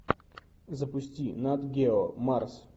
запусти нат гео марс